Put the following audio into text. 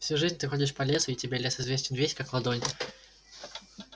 всю жизнь ты ходишь по лесу и тебе лес известен весь как ладонь